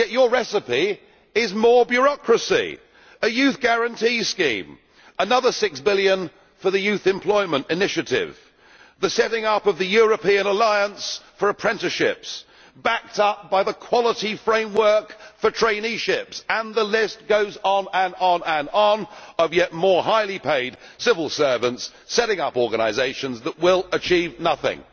Yet your recipe is more bureaucracy a youth guarantee scheme, another six billion for the youth employment initiative, the setting up of the European alliance for apprenticeships, backed up by the quality framework for traineeships, and the list goes on, and on yet more highly paid civil servants setting up organisations that will achieve nothing.